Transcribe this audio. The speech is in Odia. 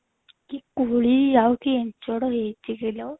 କି କୋଳି ଆଉ କି ଇଞ୍ଚଡ ହେଇଛି କିଲୋ